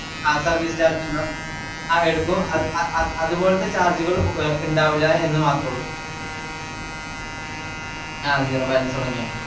ആ service charge ഇണ്ടാവും. അ എടക്കും അഹ് അഹ് അത്പോലത്തെ charge ഗൾ ഇണ്ടാവില്ല എന്ന്മാത്രയുള്ളു. ആ zero balance തുടങ്ങിയാൽ